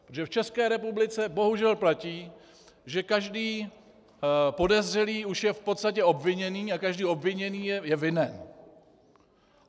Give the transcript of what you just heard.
Protože v České republice bohužel platí, že každý podezřelý už je v podstatě obviněný a každý obviněný je vinen.